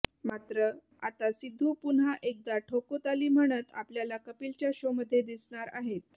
मात्र आता सिद्धू पुन्हा एकदा ठोको ताली म्हणत आपल्याला कपिलच्या शोमध्ये दिसणार आहेत